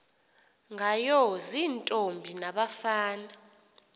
ngayo ziintombi nabafana